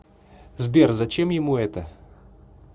сбер зачем ему это